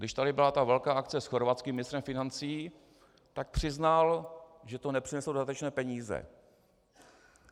Když tady byla ta velká akce s chorvatským ministrem financí, tak přiznal, že to nepřineslo dodatečné peníze.